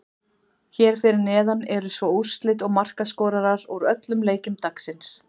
Hér fyrir neðan eru svo úrslit og markaskorarar úr öllum leikjum dagsins.